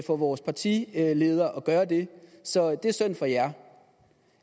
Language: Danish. for vores partileder at gøre det så det er synd for jer